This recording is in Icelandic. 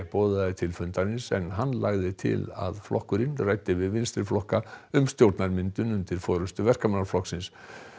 boðaði til fundarins en hann lagði til að flokkurinn ræddi við vinstriflokka um stjórnarmyndun undir forystu Verkamannaflokksins